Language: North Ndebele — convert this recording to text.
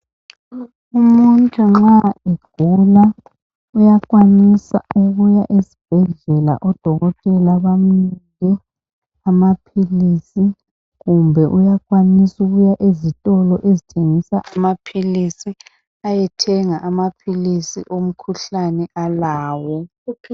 Umuntu nxa egula uyakwanisa ukuya ezibhedlela odokotela bamnike amaphilisi, kumbe uyukwanis' ukuya ezitilo ezithengisa amaphilisi ayethenga amaphilisi omkhuhlane alawo.